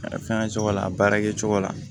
A fɛngɛ cogo la a baara kɛ cogo la